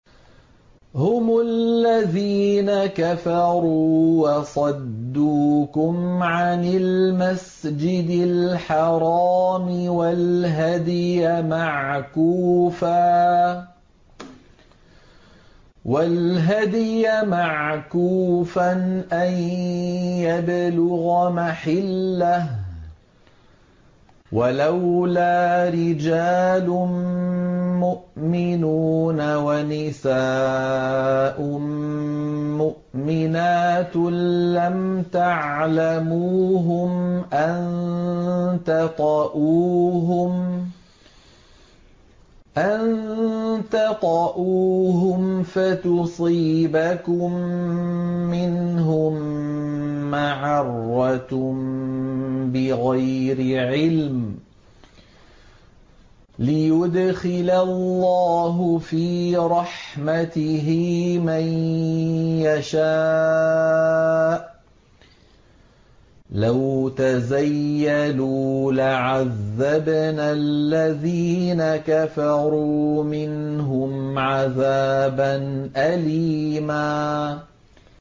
هُمُ الَّذِينَ كَفَرُوا وَصَدُّوكُمْ عَنِ الْمَسْجِدِ الْحَرَامِ وَالْهَدْيَ مَعْكُوفًا أَن يَبْلُغَ مَحِلَّهُ ۚ وَلَوْلَا رِجَالٌ مُّؤْمِنُونَ وَنِسَاءٌ مُّؤْمِنَاتٌ لَّمْ تَعْلَمُوهُمْ أَن تَطَئُوهُمْ فَتُصِيبَكُم مِّنْهُم مَّعَرَّةٌ بِغَيْرِ عِلْمٍ ۖ لِّيُدْخِلَ اللَّهُ فِي رَحْمَتِهِ مَن يَشَاءُ ۚ لَوْ تَزَيَّلُوا لَعَذَّبْنَا الَّذِينَ كَفَرُوا مِنْهُمْ عَذَابًا أَلِيمًا